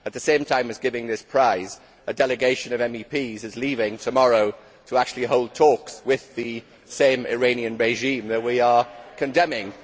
At the same time as giving this prize, a delegation of MEPs is leaving tomorrow to actually hold talks with the same Iranian regime that we are condemning.